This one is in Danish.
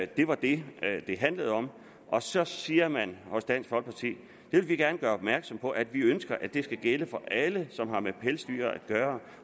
det var det det handlede om og så siger man hos dansk folkeparti vi vil gerne gøre opmærksom på at vi ønsker at det skal gælde for alle som har med pelsdyr at gøre